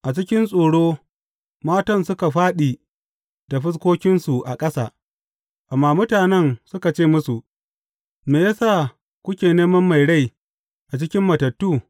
A cikin tsoro, matan suka fāɗi da fuskokinsu a ƙasa, amma mutanen suka ce musu, Me ya sa kuke neman mai rai a cikin matattu?